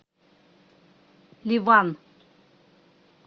ливан